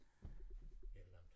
Et eller andet